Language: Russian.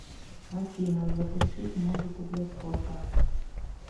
афина запустить музыку для спорта